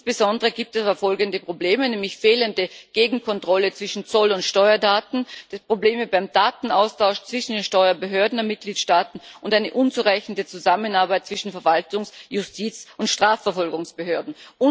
Insbesondere gibt es aber folgende Probleme fehlende Gegenkontrolle zwischen Zoll und Steuerdaten, Probleme beim Datenaustausch zwischen den Steuerbehörden der Mitgliedstaaten und eine unzureichende Zusammenarbeit zwischen Verwaltungsjustiz und Strafverfolgungsbehörden.